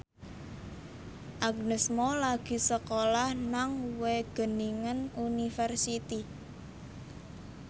Agnes Mo lagi sekolah nang Wageningen University